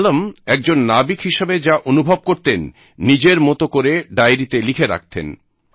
মালম একজন নাবিক হিসাবে যা অনুভব করতেন নিজের মত করে ডায়রিতে লিখে রাখতেন